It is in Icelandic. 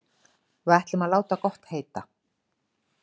Við ætlum að láta gott heita.